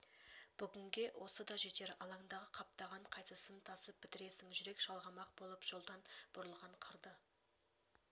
бүгінге осы да жетер алаңдағы қаптаған қайсысын тасып бітіресің жүрек жалғамақ болып жолдан бұрылған қырды